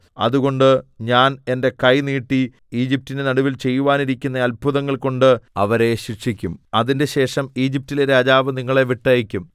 അതുകൊണ്ട് ഞാൻ എന്റെ കൈ നീട്ടി ഈജിപ്റ്റിന്റെ നടുവിൽ ചെയ്യുവാനിരിക്കുന്ന അത്ഭുതങ്ങൾ കൊണ്ട് അവരെ ശിക്ഷിക്കും അതിന്‍റെശേഷം ഈജിപ്റ്റിലെ രാജാവ് നിങ്ങളെ വിട്ടയയ്ക്കും